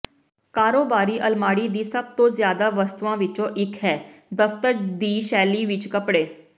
ਕਾਰੋਬਾਰੀ ਅਲਮਾਰੀ ਦੀ ਸਭ ਤੋਂ ਜ਼ਿਆਦਾ ਵਸਤੂਆਂ ਵਿਚੋਂ ਇਕ ਹੈ ਦਫਤਰ ਦੀ ਸ਼ੈਲੀ ਵਿਚ ਕੱਪੜੇ